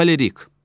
Xolerik.